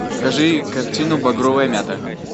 покажи картину багровая мята